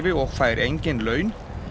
og fær engin laun